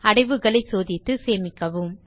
அடைவுகளைச் சோதித்து சேமிக்கவும்